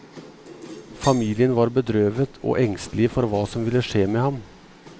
Familien var bedrøvet og engstelige for hva som ville skje med ham.